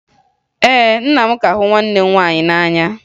Ee, nna m ka hụ nwanne m nwaanyị n'anya